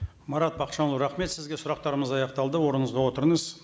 марат бақытжанұлы рахмет сізге сұрақтарымыз аяқталды орныңызға отырыңыз